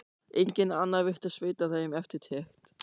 Enginn annar virtist veita þeim eftirtekt.